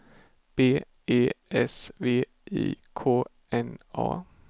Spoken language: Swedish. B E S V I K N A